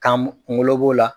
Kan kungolo b'o la.